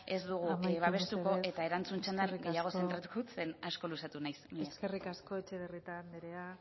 ez dugu amaitu mesedez ez dugu babestuko eta erantzun txandan gehiago zentratuko dut ze asko luzatu naiz mila esker eskerrik asko etxebarrieta andrea